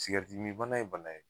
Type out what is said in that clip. Sigɛritimibana ye bana ye